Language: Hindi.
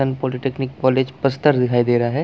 सन पॉलिटेक्निक कॉलेज बस्तर दिखाई दे रहा है।